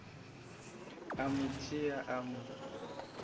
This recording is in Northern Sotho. a mo tšea a mo